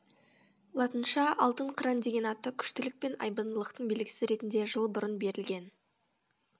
латынша алтын қыран деген аты күштілік пен айбындылықтың белгісі ретінде жыл бұрын берілген